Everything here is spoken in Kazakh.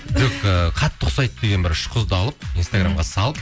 жоқ ііі қатты ұқсайды деген бір үш қызды алып инстаграмға салып